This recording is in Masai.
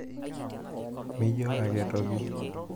mijo ake toki